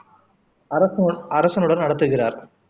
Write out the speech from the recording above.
அரசு அரசனுடன் நடத்துகிறார்